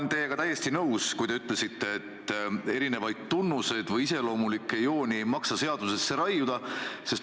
Ma olen teiega täiesti nõus, et erinevaid tunnuseid või iseloomulikke jooni ei maksa seadusesse raiuda.